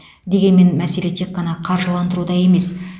дегенмен мәселе тек қана қаржыландыруда емес